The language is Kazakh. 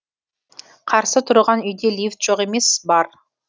қарсы тұрған үйде лифт жоқ емес бар